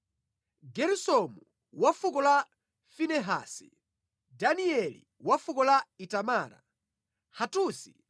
Geresomu wa fuko la Finehasi; Danieli wa fuko la Itamara; Hatusi